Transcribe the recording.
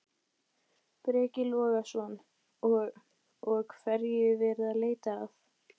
Breki Logason: Og, og hverju er verið að leita að?